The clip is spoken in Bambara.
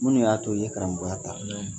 Munnu y'a to i ye karamɔgɔya ta, naamu